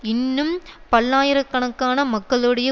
இன்னும் பல்லாயிர கணக்கான மக்களுடைய